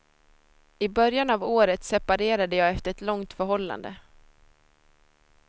I början av året separerade jag efter ett långt förhållande.